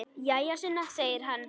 Jæja, Sunna, segir hann.